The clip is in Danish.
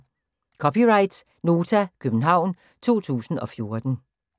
(c) Nota, København 2014